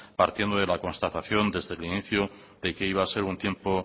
partiendo de la constatación desde el inicio de que iba a ser un tiempo